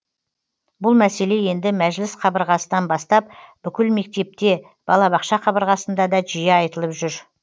бұл мәселе енді мәжіліс қабырғасынан бастап бүкіл мектепте балабақша қабырғасында да жиі айтылып жүр